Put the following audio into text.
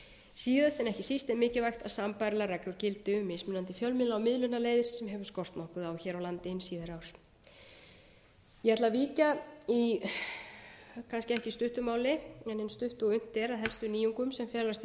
síðast en ekki síst er mikilvægt að sambærilegar reglur gildi um mismunandi fjölmiðla og miðlunarleiðir sem hefur skort nokkuð á hér á landi hin síðari ár ég ætla að víkja í kannski ekki stuttu máli en eins stuttu og unnt er að helstu nýjungum sem felast í